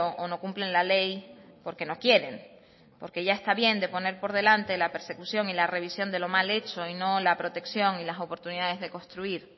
o no cumplen la ley porque no quieren porque ya está bien de poner por delante la persecución y la revisión de lo mal hecho y no la protección y las oportunidades de construir